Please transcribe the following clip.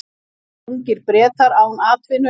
Ungir Bretar án atvinnu